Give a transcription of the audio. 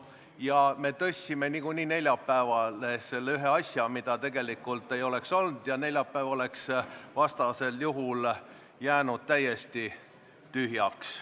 Ja me tõstsime neljapäevale ühe eelnõu, mida muidu ei oleks seal olnud, aga vastasel juhul oleks neljapäev jäänud täiesti tühjaks.